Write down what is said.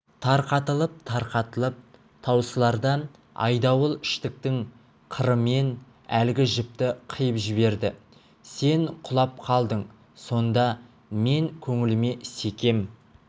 тарқатылып-тарқатылып таусыларда айдауыл штыктың қырымен әлгі жіпті қиып жіберді сен құлап қалдың сонда мен көңіліме секем